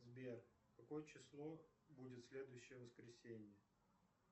сбер какое число будет в следующее воскресенье